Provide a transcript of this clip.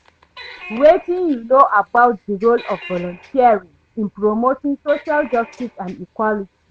Wetin you know about di role of volunteering in promoting social justice and equality?